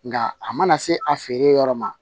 Nka a mana se a feere yɔrɔ ma